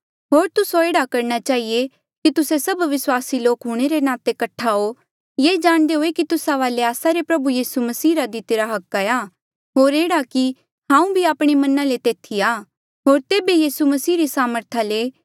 होर तुस्से एह्ड़ा करणा चहिए कि तुस्से सब विस्वासी लोक हूंणे रे नाते कठ्ठा हो ये जाणदे हुए की तुस्सा वाले आस्सा रे प्रभु यीसू मसीह रा दितिरा हक हाया होर एह्ड़ा कि हांऊँ भी आपणे मना ले तेथी आ होर तेबे यीसू मसीह री सामर्था ले